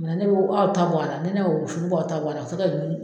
Ne bɛ aw ta bɔ a la ne y'o wusu ni baw ta ye fo ka dumuni